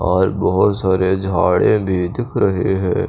और बहुत सारे झाड़ें भी दिख रहे हैं।